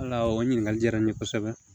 Ala o ɲininkali diyara n ye kosɛbɛ